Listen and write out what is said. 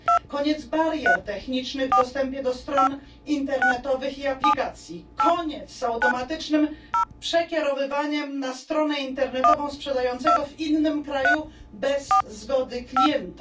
Koniec barier technicznych w dostępie do stron internetowych i aplikacji. Koniec z automatycznym przekierowywaniem na stronę internetową sprzedającego w innym kraju bez zgody klienta.